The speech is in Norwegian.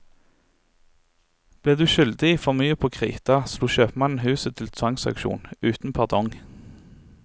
Ble du skyldig for mye på krita, slo kjøpmannen huset til tvangsauksjon uten pardong.